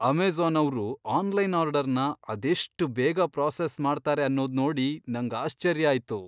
Amazon ಅವ್ರು online ಆರ್ಡರ್ನ ಅದೆಷ್ಟ್ ಬೇಗ ಪ್ರಾಸೆಸ್ ಮಾಡ್ತಾರೆ ಅನ್ನೋದ್ ನೋಡಿ ನಂಗ್ ಆಶ್ಚರ್ಯ ಆಯ್ತು.